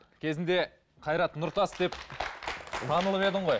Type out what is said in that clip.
кезінде қайрат нұртас деп танылып едің ғой